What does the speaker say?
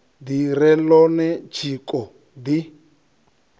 ḓi re ḽone tshiko ḓi